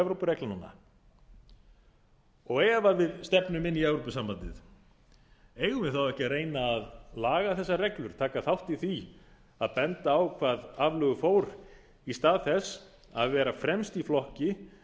evrópureglnanna ef við stefnum inn í evrópusambandið eigum við þá ekki að reyna að laga þessar betur taka þátt í því að benda á hvað aflögu fór í stað þess að vera fremst í flokki